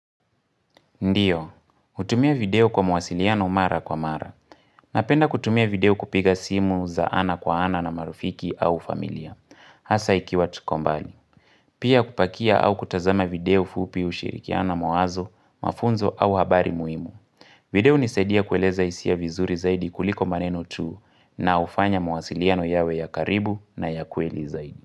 Ndiyo, hutumia video kwa mwasiliano mara kwa mara. Napenda kutumia video kupiga simu za ana kwa ana na marafiki au familia. Hasa ikiwa tuko mbali. Pia kupakia au kutazama video fupi ushirikiana mawazo, mafunzo au habari muhimu. Video hunisaidia kueleza hisia vizuri zaidi kuliko maneno tuu na ufanya mwasiliano yawe ya karibu na ya kweli zaidi.